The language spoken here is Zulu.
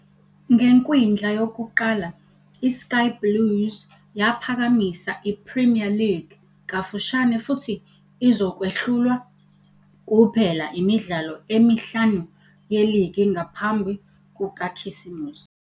Ngekwindla yokuqala iSky Blues yaphakamisa i-Premier League kafushane futhi izokwehlulwa kuphela imidlalo emihlanu yeligi ngaphambi kukaKhisimusi.